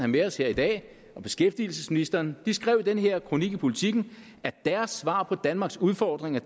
med os her i dag og beskæftigelsesministeren de skrev i den her kronik i politiken at deres svar på danmarks udfordringer